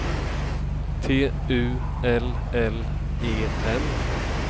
T U L L E N